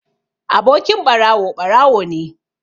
Abokin ɓarawo, ɓarawo ne